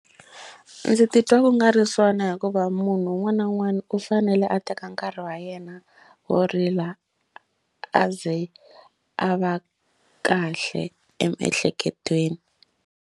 Ndzi titwa ku nga ri swona hikuva munhu un'wana na un'wana u fanele a teka nkarhi wa yena wo rila a ze a va kahle emiehleketweni.